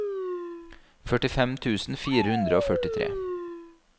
førtifem tusen fire hundre og førtitre